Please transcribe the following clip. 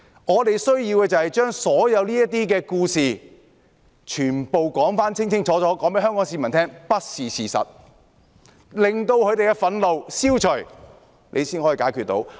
我們需要的是將所有這些故事，全部清楚告訴香港市民，說明並不是事實，令他們的憤怒消除，這樣才解決得到。